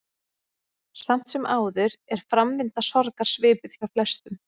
Samt sem áður er framvinda sorgar svipuð hjá flestum.